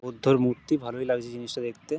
বুদ্ধর মূর্তি ভালই লাগছে জিনিসটা দেখতে।